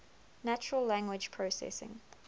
natural language processing